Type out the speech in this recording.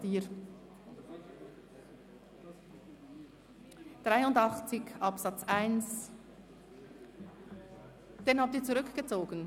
Sie haben den Antrag zu Artikel 83 Absatz 1 zurückgezogen?